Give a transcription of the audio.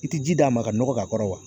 I tɛ ji d'a ma ka nɔgɔ k'a kɔrɔ wa